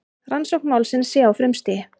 Rannsókn málsins sé á frumstigi